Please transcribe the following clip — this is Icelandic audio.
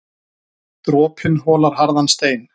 Dropinn holar harðan stein.